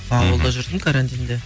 ауылда жүрдім карантинде